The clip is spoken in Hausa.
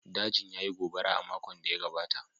Dajin ya yi gobara a makon da ya gabata